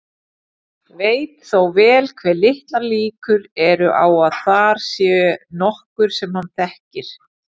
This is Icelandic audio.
Veit þó vel hve litlar líkur eru á að þar sé nokkur sem hann þekkir.